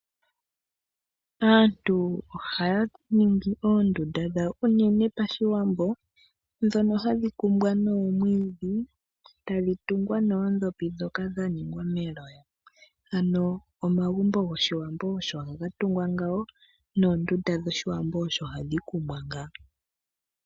Aantu ohaya ningi oondunda dhawo, unene Pashiwambo, ndhono hadhi kumbwa noomwiidhi, tadhi tungwa noondhopi ndhoka dha ningwa meloya. Omagumbo gOshiwambo osho haga dhikwa ngaaka noondunda dhOshiwambo osho hadhi kumbwa ngaaka.